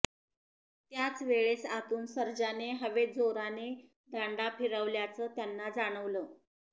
त्याचवेळेस आतून सर्जाने हवेत जोराने दांडा फ़िरवल्याचं त्यांना जाणवलं